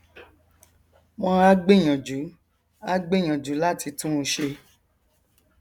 wọn á gbìyànjú á gbìyànjú láti tún un ṣe